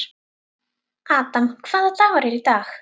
Adam, hvaða dagur er í dag?